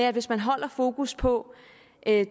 at hvis man holder fokus på